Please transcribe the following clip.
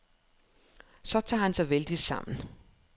Så tager han sig vældigt sammen.